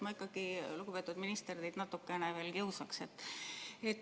Ma ikkagi, lugupeetud minister, teid natukene veel kiusaksin.